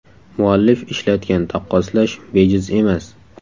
Muallif ishlatgan taqqoslash bejiz emas.